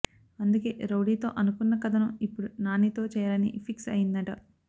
అందుకే రౌడీ తో అనుకున్న కథను ఇప్పుడు నాని తో చేయాలనీ ఫిక్స్ అయ్యిందట